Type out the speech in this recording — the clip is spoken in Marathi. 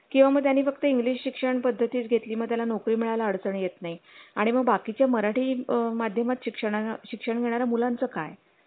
किंवा म त्यानी फुकट english शिक्षणपद्धतीच घेतली मग त्याला नोकरी मिळाल्या अडचण येत नाही आणि मग बाकी च्या मराठी माध्यमात शिक्षण शिक्षण घेणाऱ्या मुलांचं काय